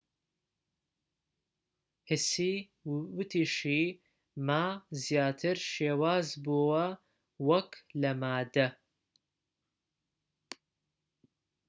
هسی وتیشی ما زیاتر شێواز بووە وەك لە مادە